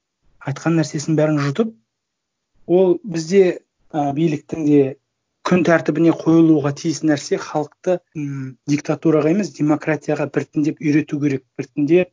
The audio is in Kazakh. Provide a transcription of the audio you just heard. айтқан нәрсесін бәрін жұтып ол бізде ы биліктің де күн тәртібіне қойылуға тиіс нәрсе халықты м диктатураға емес демократияға біртіндеп үйрету керек біртіндеп